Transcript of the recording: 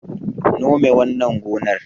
Nome wannan gonar